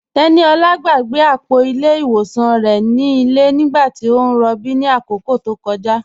Teníolá gbàgbé apọ̀ ilẹ̀ iwọsàn rẹ̀ ni ilẹ̀ nígbàtí o n rọ̀bí ni akókó tó kọja.